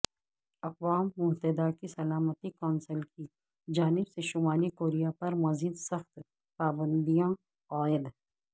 اقوام متحدہ کی سلامتی کونسل کی جانب سے شمالی کوریا پر مزید سخت پابندیاں عائد